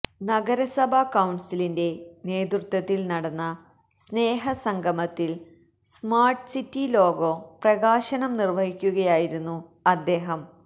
നഗരസഭാ കൌണ്സിലിന്റെ നേതൃത്വത്തില് നടന്ന സ്നേഹ സംഗമത്തില് സ്മാര്ട്ട് സിറ്റി ലോഗോ പ്രകാശനം നിര്വ്വഹിക്കുകയായിരുന്നു അദ്ദേഹം